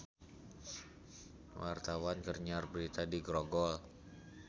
Wartawan keur nyiar berita di Grogol